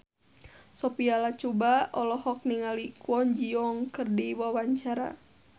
Sophia Latjuba olohok ningali Kwon Ji Yong keur diwawancara